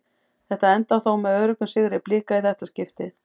Þetta endar þó með öruggum sigri Blika í þetta skiptið.